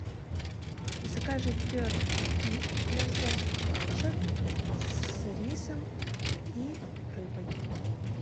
закажи перфект фит для взрослых кошек с рисом и рыбой